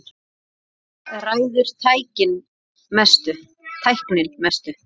Þar ræður tæknin mestu.